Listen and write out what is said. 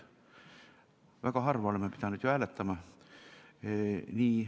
Väga harva oleme pidanud hääletama.